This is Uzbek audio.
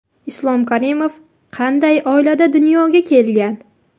Islom Karimov qanday oilada dunyoga kelgan?